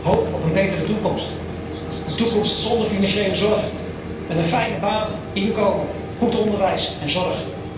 Hoop op een betere toekomst, een toekomst zonder financiële zorgen, en een fijne baan, inkomen, goed onderwijs en zorg.